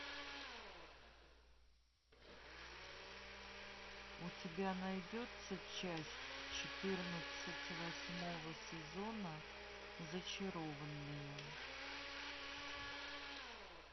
у тебя найдется часть четырнадцать восьмого сезона зачарованные